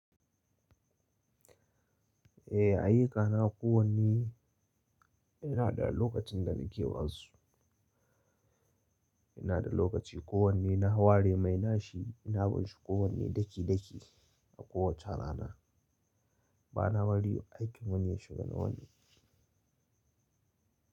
Eh, ayyuka na kowanne ina da lokacin da nake basu. Ina da lokaci kowanne na ware mai nashi, na ban shi kowanne daki daki a kowace rana. Ba na bari aikin wani ya shiga na wani.